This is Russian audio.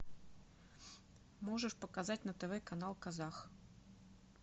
можешь показать на тв канал казах